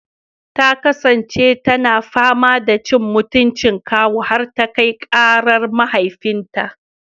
Ta kasance tana fama da cin mutuncin kawu har ta kai karar mahaifinta.